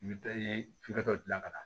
I bɛ i ye f'i ka dɔ dilan ka ɲa